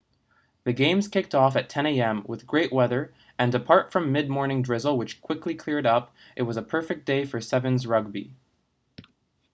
the games kicked off at 10:00am with great weather and apart from mid morning drizzle which quickly cleared up it was a perfect day for 7's rugby